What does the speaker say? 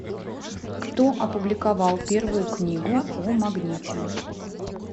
кто опубликовал первую книгу о магните